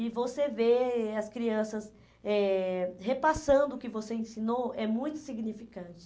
E você vê as crianças eh repassando o que você ensinou, é muito significante.